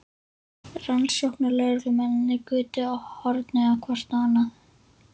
Rannsóknarlögreglumennirnir gutu hornauga hvort á annað.